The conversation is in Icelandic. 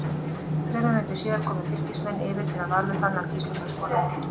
Þremur mínútum síðar komust Fylkismenn yfir þegar Valur Fannar Gíslason skoraði.